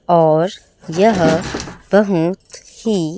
और यह बहुत ही--